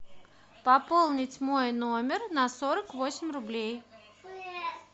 пополнить мой номер на сорок восемь рублей